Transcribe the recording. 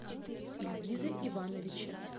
ильгизе ивановиче